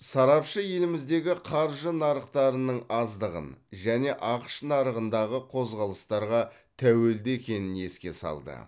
сарапшы еліміздегі қаржы нарықтарының аздығын және ақш нарығындағы қозғалыстарға тәуелді екенін еске салды